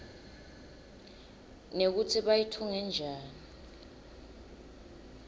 nekutsi bayitfunge njani